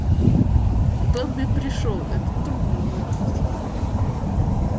добби пришёл это трудно выразить